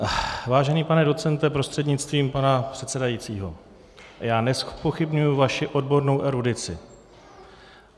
Vážený pane docente prostřednictvím pana předsedajícího, já nezpochybňuji vaši odbornou erudici.